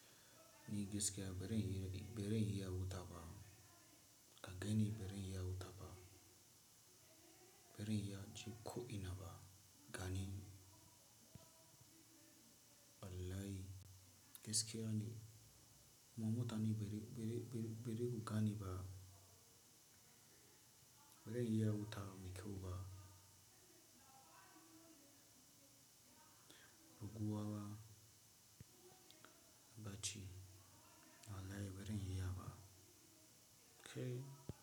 Ni giskeya barin yi, barin ya wuta ba. Kaga ni barin iya wuta ba. Barin ya ji ƙo ina ba gani. Wallahi giskeya ne. Mutane ni biri, biri, biri, biri kugane ba. Birin ya wuta me kyau ba. Ruguwa ba. Bacci. Wallahi barin iya ba. Kai.